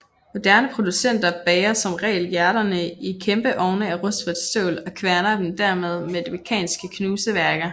Moderne producenter bager som regel hjerterne i kæmpe ovne af rustfrit stål og kværner dem dermed med mekaniske knuseværker